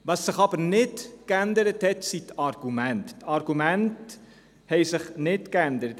Was sich aber nicht geändert hat, sind die Argumente – die Argumente haben sich nicht geändert.